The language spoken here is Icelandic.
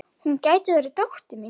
Hún gæti verið dóttir mín.